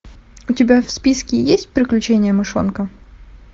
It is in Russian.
у тебя в списке есть приключения мышонка